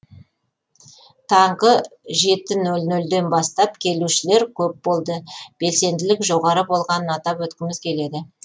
таңғы жеті ноль нольден бастап келушілер көп болды белсенділік жоғары болғанын атап өткіміз келеді